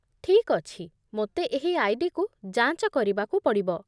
ଠିକ୍ ଅଛି, ମୋତେ ଏହି ଆଇ.ଡି.କୁ ଯାଞ୍ଚ କରିବାକୁ ପଡ଼ିବ